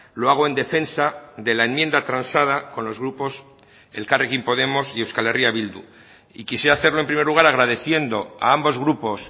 lo hago en defensa de la enmienda transada con los grupos elkarrekin podemos y euskal herria bildu y quisiera hacerlo en primer lugar agradeciendo a ambos grupos